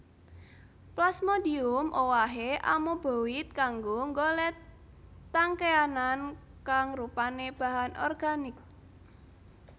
Plasmodium owahé amoeboid kanggo nggolet tangkéanan kang rupané bahan organik